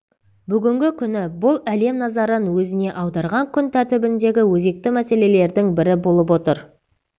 бүгінгі күні бұл әлем назарын өзіне аударған күн тәртібіндегі өзекті мәселелердің бірі болып отыр